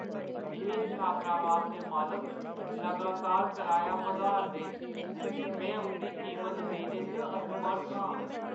एह् छात्रावास दे मालक लगातार कराया बधाऽ 'रदे न, में उंʼदी कीमत देने च असमर्थ आं।